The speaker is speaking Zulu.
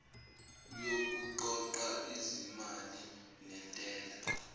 wokuqoqa izimali zentela